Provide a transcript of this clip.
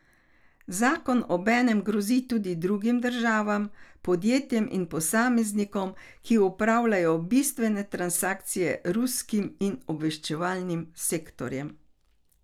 Zakon obenem grozi tudi drugim državam, podjetjem in posameznikom, ki opravljajo bistvene transakcije z ruskim in obveščevalnim sektorjem.